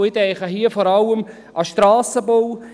Ich denke hier vor allem an den Strassenbau.